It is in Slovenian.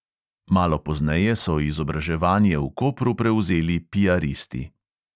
Malo pozneje so izobraževanje v kopru prevzeli piaristi.